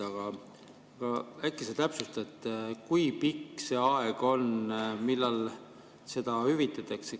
Aga äkki sa täpsustad, kui pikk see aeg on, millal seda hüvitatakse?